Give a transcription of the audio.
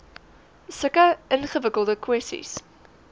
sulke ingewikkelde kwessies